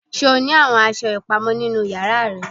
Ṣe o ni awọn aṣọ ipamọ ninu yara rẹ?